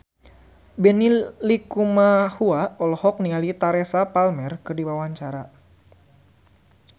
Benny Likumahua olohok ningali Teresa Palmer keur diwawancara